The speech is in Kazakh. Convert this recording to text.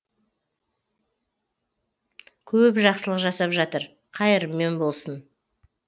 көп жақсылық жасап жатыр қайырымен болсын